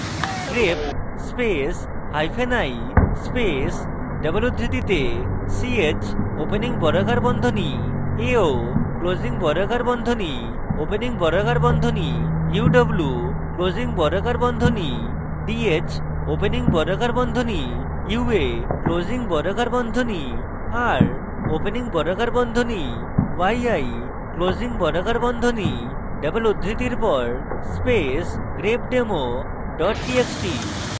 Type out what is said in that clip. grep space hyphen i space double উদ্ধৃতিতে ch opening বর্গাকার বন্ধনী ao closing বর্গাকার বন্ধনী opening বর্গাকার বন্ধনী uw closing বর্গাকার বন্ধনী dh opening বর্গাকার বন্ধনী ua closing বর্গাকার বন্ধনী r opening বর্গাকার বন্ধনী yi closing বর্গাকার বন্ধনী double উদ্ধৃতির পর space grepdemo double txt